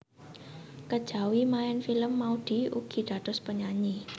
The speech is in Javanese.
Kejawi maèn film Maudy ugi dados penyanyi